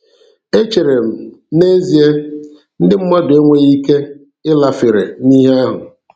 E chere m, "N'ezie, ndị mmadụ enweghi ike ịlafere n'ihe ahụ.